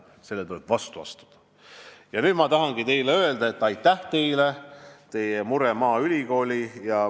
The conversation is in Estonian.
Nüüd ma tahangi teile öelda, et aitäh teile, et te muretsete maaülikooli pärast.